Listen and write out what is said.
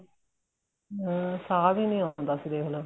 ਹਮ ਸਾਂਹ ਵੀ ਨਹੀਂ ਆਉਦਾ ਹੁੰਦਾ ਸੀ ਦੇਖਲੋ